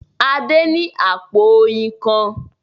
Adé ní àpò oyin kan.